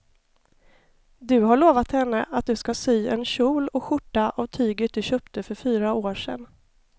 Du har lovat henne att du ska sy en kjol och skjorta av tyget du köpte för fyra år sedan.